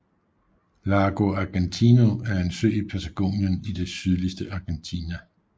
Lago Argentino er en sø i Patagonien i det sydligste Argentina